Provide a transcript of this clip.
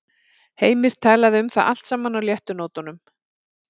Heimir talaði um það allt saman á léttu nótunum.